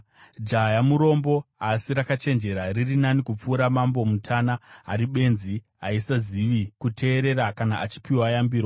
Jaya murombo asi rakachenjera riri nani kupfuura mambo mutana ari benzi, asisazivi kuteerera kana achipiwa yambiro.